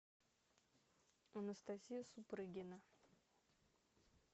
анастасия супрыгина